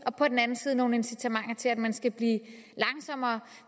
og på den anden side nogle incitamenter til at man skal blive langsommere